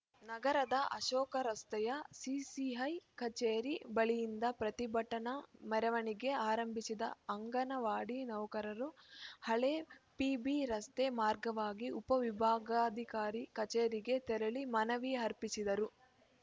ನಗರದ ಅಶೋಕ ರಸ್ತೆಯ ಸಿಸಿಐ ಕಚೇರಿ ಬಳಿಯಿಂದ ಪ್ರತಿಭಟನಾ ಮೆರವಣಿಗೆ ಆರಂಭಿಸಿದ ಅಂಗನವಾಡಿ ನೌಕರರು ಹಳೆ ಪಿಬಿರಸ್ತೆ ಮಾರ್ಗವಾಗಿ ಉಪ ವಿಭಾಗಾಧಿಕಾರಿ ಕಚೇರಿಗೆ ತೆರಳಿ ಮನವಿ ಅರ್ಪಿಸಿದರು